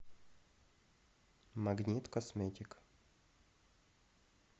магнит косметик